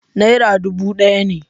Nera dubu ɗaya ne.